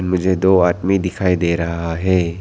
मुझे दो आदमी दिखाई दे रहा है।